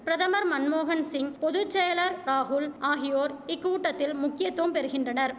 பிரதமர் மன்மோகன்சிங் பொது செயலர் ராகுல் ஆகியோர் இக்கூட்டத்தில் முக்கியத்துவம் பெறுகின்றனர்